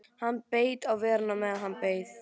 Hann beit á vörina á meðan hann beið.